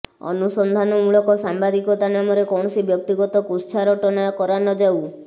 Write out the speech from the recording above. ଅନୁସନ୍ଧାନମୂଳକ ସାମ୍ବାଦିକତା ନାମରେ କୌଣସି ବ୍ୟକ୍ତିଗତ କୁତ୍ସାରଟନା କରା ନଯାଉ